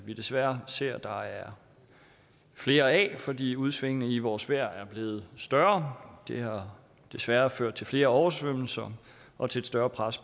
vi desværre ser der er flere af fordi udsvingene i vores vejr er blevet større det har desværre ført til flere oversvømmelser og til et større pres